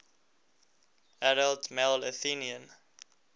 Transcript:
adult male athenian